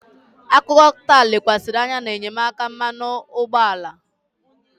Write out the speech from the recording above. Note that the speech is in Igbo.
Akụkọ taa lekwasịrị anya na enyemaka mmanụ ụgbọala.